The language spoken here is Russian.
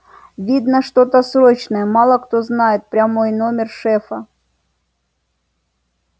видно что-то срочное мало кто знает прямой номер шефа